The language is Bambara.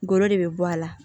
Golo de be bɔ a la